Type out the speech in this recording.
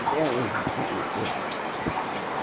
Até hoje tem o grupo.